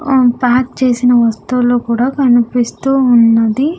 ఆ ప్యాక్ చేసిన వస్తువులు కూడా కనిపిస్తూ ఉన్నది.